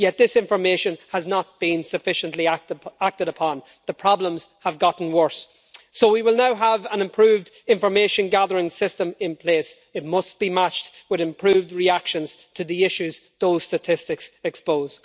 Yet this information has not been sufficiently acted upon and the problems have got worse. So, as we will now have an improved information gathering system in place, it must be matched with improved reactions to the issues which those statistics expose.